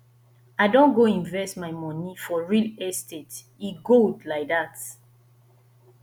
i don go invest my moni for real estate e good lai dat